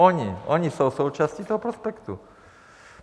Oni, oni jsou součástí toho prospektu.